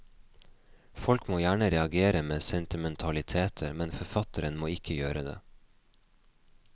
Folk må gjerne reagere med sentimentaliteter, men forfatteren må ikke gjøre det.